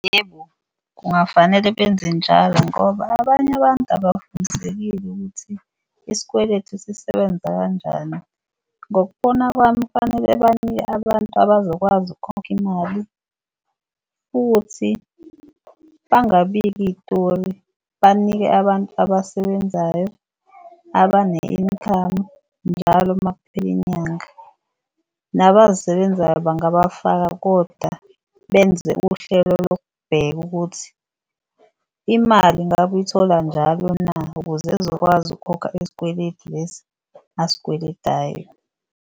Yebo, kungafanele benze njalo ngoba abanye abantu abafundisekile ukuthi isikweleti sisebenza kanjani. Ngokubona kwami kufanele banike abantu abazokwazi ukukhokha imali futhi bangabiki iyitori. Banike abantu abasebenzayo abane-income njalo makuphela inyanga. Nabazisebenzayo bangabafaka koda benze uhlelo lokubheka ukuthi imali ngabe uyithola njalo na, ukuze ezokwazi ukukhokha isikweleti lesi asikweletayo.